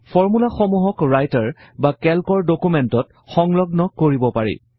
ফৰ্মূলাসমূহক Writer বা কেল্কৰ ডকুমেন্টত সংলগ্ন কৰিব পাৰি